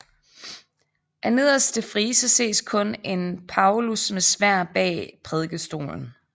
Af nederste frise ses kun en Paulus med sværd bag prædikestolen